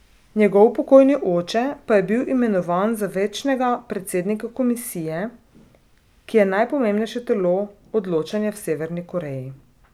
Njegov pokojni oče pa je bil imenovan za večnega predsednika komisije, ki je najpomembnejše telo odločanja v Severni Koreji.